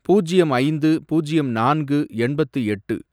பூஜ்யம் ஐந்து, பூஜ்யம் நான்கு, எண்பத்து எட்டு